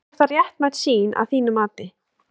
Er það réttmæt sýn að þínu mati?